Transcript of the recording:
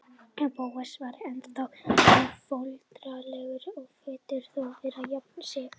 Bóas var ennþá hálfólundarlegur en virtist þó vera að jafna sig.